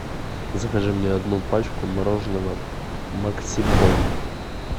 закажи мне одну пачку мороженого максибон